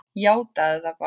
Játaðu það bara!